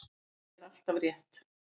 Ég vel alltaf rétt.